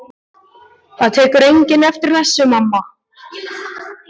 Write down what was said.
Það tekur enginn eftir þessu, mamma.